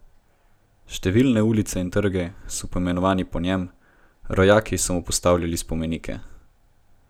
Številne ulice in trgi so poimenovani po njem, rojaki so mu postavljali spomenike.